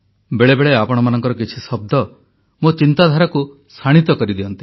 ବେଳେବେଳେ ଆପଣମାନଙ୍କର କିଛି ଶବ୍ଦ ମୋ ଚିନ୍ତାଧାରାକୁ ଶାଣିତ କରିଦିଅନ୍ତି